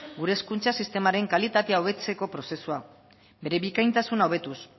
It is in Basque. gure hezkuntza sistemaren kalitatea hobetzeko prozesua bere bikaintasuna hobetuz